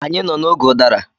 Anyị nọ n'oge ụdara.